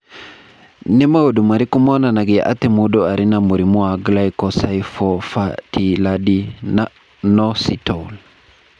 Nĩ maũndũ marĩkũ monanagia atĩ mũndũ arĩ na mũrimũ wa Glycosylphosphatidylinositol?